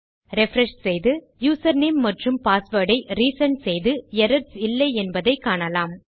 refresh செய்து username மற்றும் password ஐ ரிசெண்ட் செய்து எரர்ஸ் இல்லை என்பதை காணலாம்